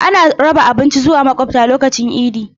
Ana raba abinci zuwa makwabta lokacin idi.